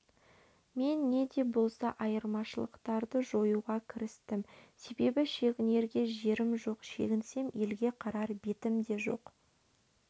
мен неде болса айырмашылықтарды жоюға кірістім себебі шегінерге жерім жоқ шегінсем елге қарар бет те жоқ